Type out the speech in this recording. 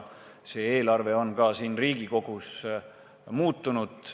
See eelarve on ka siin Riigikogus muutunud.